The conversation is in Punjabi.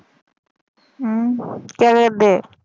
ਹਮ ਕਿਆ ਕਰਦੇ?